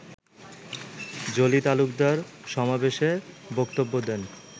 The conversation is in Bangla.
জলি তালুকদার সমাবেশে বক্তব্য দেন